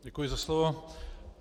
Děkuji za slovo.